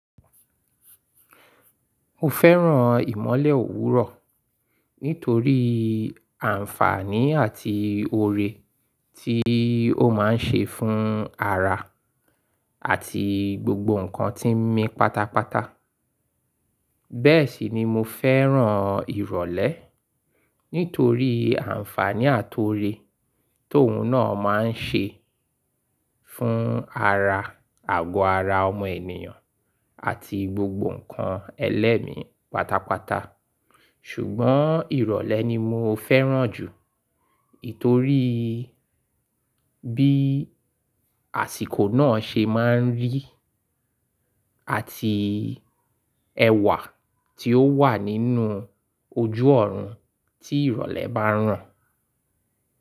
Mo fẹ́ràn ìmọ́lẹ̀ òwúrọ̀ nítorí àǹfààní àti ore tí ó máa ń ṣe fún ara àti gbogbo nnkan tí ń mí pátápátá. Bẹ́ẹ̀ sì ni mo fẹ́ràn ìrọ̀lẹ́ nítorí àǹfààní àti ore tó ń ná máa ń ṣe fún ara, àgọ́ ara ọmọ ènìyàn àti gbogbo nnkan ẹlẹ́mi pátápátá. Ṣùgbọ́n ìrọ̀lẹ́ ni mo fẹ́ràn jù ítorí bí àsìkò náà ṣe máa ń rí àti ẹwà tí ó wà nínú ojú ọ̀run tí ìrọ̀lẹ́ bá ran.